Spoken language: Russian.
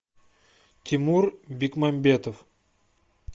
тимур бекмамбетов